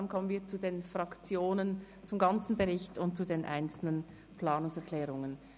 Dann kommen wir zu den Fraktionsvoten zum ganzen Bericht und zu den einzelnen Planungserklärungen.